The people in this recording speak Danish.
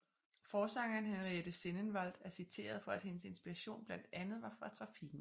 Forsangeren Henriette Sennenvaldt er citeret for at hendes inspiration blandt andet var fra trafikken